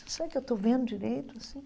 Será que eu estou vendo direito assim?